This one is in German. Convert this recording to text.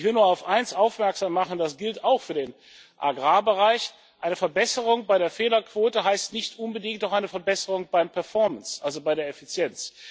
Ich will nur auf eines aufmerksam machen, das gilt auch für den Agrarbereich Eine Verbesserung bei der Fehlerquote heißt nicht unbedingt auch eine Verbesserung bei der Performance, also bei der Effizienz.